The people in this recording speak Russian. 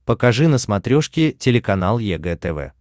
покажи на смотрешке телеканал егэ тв